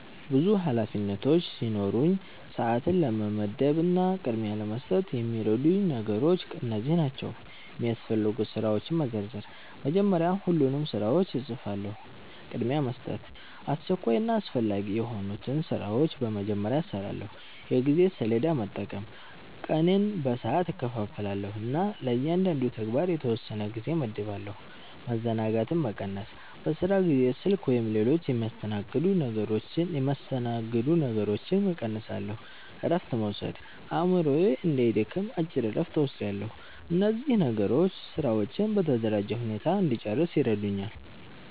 ብዙ ኃላፊነቶች ሲኖሩኝ፣ ሰዓትን ለመመደብ እና ቅድሚያ ለመስጠት የሚረዱኝ ነገሮች እነዚህ ናቸው፦ የሚያስፈልጉ ስራዎችን መዘርዘር – መጀመሪያ ሁሉንም ስራዎች እጽፋለሁ። ቅድሚያ መስጠት – አስቸኳይና አስፈላጊ የሆኑትን ስራዎች በመጀመሪያ እሰራለሁ። የጊዜ ሰሌዳ መጠቀም – ቀኔን በሰዓት እከፋፍላለሁ እና ለእያንዳንዱ ተግባር የተወሰነ ጊዜ እመድባለሁ። መዘናጋትን መቀነስ – በስራ ጊዜ ስልክ ወይም ሌሎች የሚያስተናግዱ ነገሮችን እቀንሳለሁ። እረፍት መውሰድ – አእምሮዬ እንዳይደክም አጭር እረፍት እወስዳለሁ። እነዚህ ነገሮች ስራዎቼን በተደራጀ ሁኔታ እንድጨርስ ይረዱኛል።